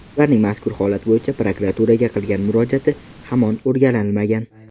Ularning mazkur holat bo‘yicha prokuraturaga qilgan murojaati hamon o‘rganilmagan.